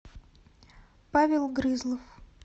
павел грызлов